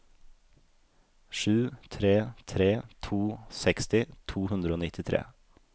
sju tre tre to seksti to hundre og nittitre